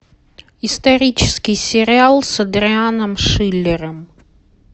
исторический сериал с адрианом шиллером